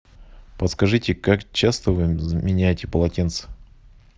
подскажите как часто вы меняете полотенца